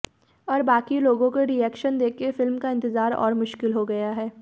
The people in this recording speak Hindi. और बाकी लोगों के रिएक्शन देकर फिल्म का इंतज़ार और मुश्किल हो गया है